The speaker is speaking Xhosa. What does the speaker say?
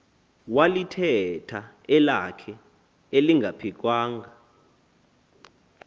walithetha elakhe elingaphikwanga